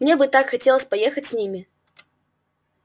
мне бы так хотелось поехать с ними